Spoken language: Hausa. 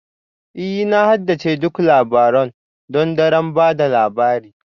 Ee Na haddace duk labarun th don daren ba da labari